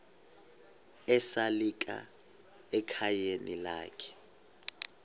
esalika ekhayeni lakhe